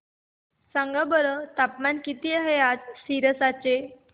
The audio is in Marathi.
सांगा बरं तापमान किती आहे आज सिरसा चे